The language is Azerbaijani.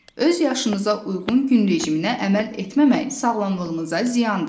Öz yaşınıza uyğun gün rejiminə əməl etməmək sağlamlığınıza ziyandır.